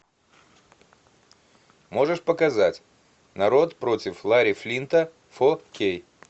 можешь показать народ против ларри флинта фо кей